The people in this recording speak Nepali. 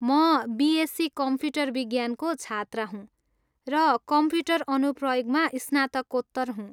म बिएससी कम्प्युटर विज्ञानको छात्रा हुँ र कम्प्युटर अनुप्रयोगमा स्नातकोत्तर हुँ।